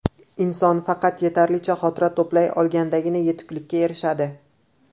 Inson faqat yetarlicha xotira to‘play olganidagina yetuklikka erishadi.